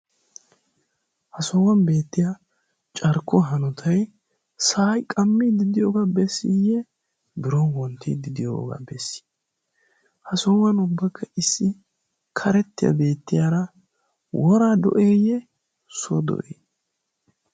ha sohuwan beettiya carkkuwa hanotay sa'ay qammi diddiyoogaa bessiiyye biron wonttiiddi diyoogaa bessi ha sohuwan ubbakka issi karettiyaa beettiyaara woraa do'eeyye suwo do7ee?